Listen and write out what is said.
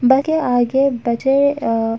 के आगे बजे अ --